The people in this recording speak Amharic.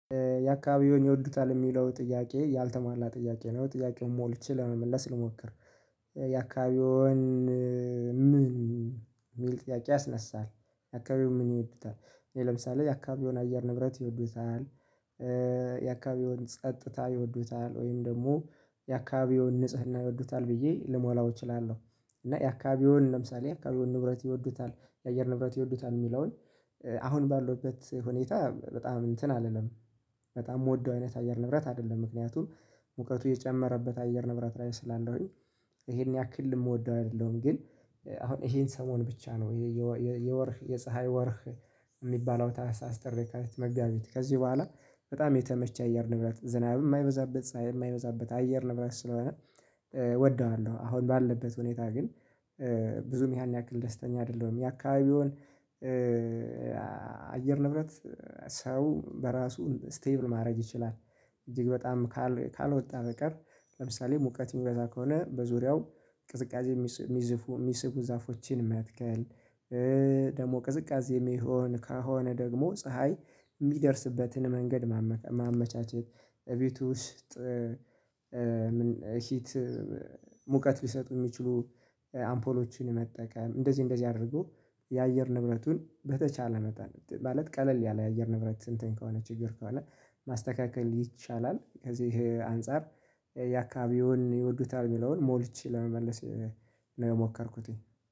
ያአካባቢውን ይወዱታል ሚለው ጥያቄ ያልተማላ ጥያቄ ነው ጥያቄውን ሞልቼ ለመመለስ ልሞክር። የአካባቢውን ምን? የሚል ጥያቄ ያስነሳል የአካባቢውን ምን ይወዱታል ለምሳሌ የአካባቢውን አየር ንብረት ይወዱታል። የአካባቢውን ጸጥታ ይወዱታል ወይም ደግሞ የአካባቢውን ንጽህና ይወዱታል ብዬ ልሞላው እችላለሁ። እና የአካባቢውን ለምሳሌ የአካባቢውን ንብረት ይወዱታል የአየር ንብረት ይወዱታል ሚለውን አሁን ባለውበት ሁኔታ በጣም እንትን አልልም። በጣም ምወደው አይነት አየር ንብረት አይደለም ምክንያቱም ሙቀቱ እየጨመረበት አየር ንብረት ላይ ስላለሁኝ። ይሄን ያክል ምወደው አይደለም። ግን አሁን ይሄን ሰሞን ብቻ ነው። ይህ ወር የፀሀይ ወርህ። ሚባለው ታህሳስ ጥር የካቲት መጋቢት ከዚህ በኋላ በጣም እየተመቸኝ አይደለም ዝናብ ማይበዛበት ፀሀይ ማይበዛበት አየር ንብረት ስለሆነ። እወደዋለሁ አሁን ባለበት ሁኔታ ግን ብዙም ያን ያክል ደስተኛ አይደለሁም የአካባቢውን። የአየር ንብረት ሰው በራሱ ስቴብል ማድረግ ይችላል። እጅግ በጣም ካልወጣ በቀር ለምሳሌ ሙቀት እሚበዛ ከሆነ በዙሪያው ቅዝቃዜ ሚስቡ ዛፎችን መትከል። ደግሞ ቅዝቃዜ ሚሆን ከሆነ ደግሞ ፀሀይ ሚደርስበትን መንገድ ማመቻቸት እቤቱ ውስጥ። ሂት ሙቀት ሊሰጡ ሚችሉ አምፖሎችን መጠቀም እንደዚህ እንደዚህ አድርጎ። የአየር ንብረቱን በተቻለ መጣለት ማለት ቀለል ያለ የአየር ንብረት እንትን ከሆነ ችግር ከሆነ ማስተካከል ይቻላል። ከዚህ አንፃር ያካቢውን ይወዱታል ሚለውን ሞልቼ ለመመለስ ነው የሞከርኩትኝ